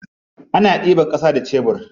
Ana ɗiban ƙasa da sebur.